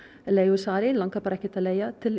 leigusalar langir bara ekkert að leigja til